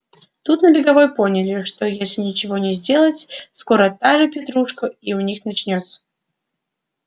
тут на беговой поняли что если ничего не сделать скоро та же петрушка и у них начнётся